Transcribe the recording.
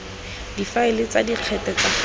difaele tsa dikgetse tsa ga